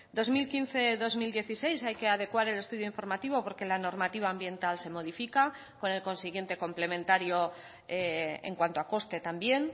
dos mil quince dos mil dieciséis hay que adecuar el estudio informativo porque la normativa ambiental se modifica con el consiguiente complementario en cuanto a coste también